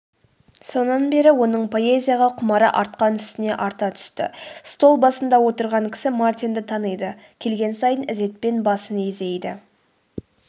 сонан бері оның поэзияға құмары артқан үстіне арта түсті.стол басында отырған кісі мартинді таниды келген сайын ізетпен басын изейді